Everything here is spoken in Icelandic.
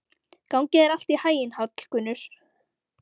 Gangi þér allt í haginn, Hallgunnur.